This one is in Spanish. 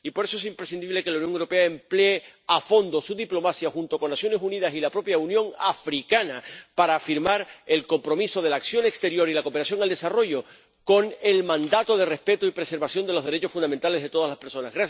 Y, por eso, es imprescindible que la Unión Europea emplee a fondo su diplomacia junto con las Naciones Unidas y la propia Unión Africana para firmar el compromiso de la acción exterior y la cooperación al desarrollo con el mandato de respeto y preservación de los derechos fundamentales de todas las personas.